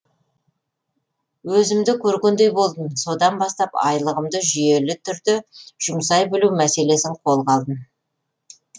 өзімді көргендей болдым содан бастап айлығымды жүйелі түрде жұмсай білу мәселесін қолға алдым